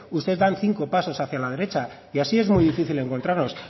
ustedes dan cinco pasos hacia la derecha y así es muy difícil encontrarnos